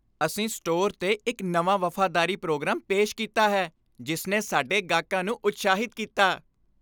ਅਸੀਂ ਸਟੋਰ 'ਤੇ ਇੱਕ ਨਵਾਂ ਵਫ਼ਾਦਾਰੀ ਪ੍ਰੋਗਰਾਮ ਪੇਸ਼ ਕੀਤਾ ਹੈ ਜਿਸ ਨੇ ਸਾਡੇ ਗਾਹਕਾਂ ਨੂੰ ਉਤਸ਼ਾਹਿਤ ਕੀਤਾ।